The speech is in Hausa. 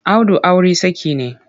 Audu auri saki ne.